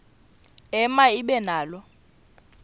ema ibe nalo